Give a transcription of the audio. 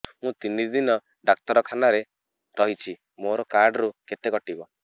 ମୁଁ ତିନି ଦିନ ଡାକ୍ତର ଖାନାରେ ରହିଛି ମୋର କାର୍ଡ ରୁ କେତେ କଟିବ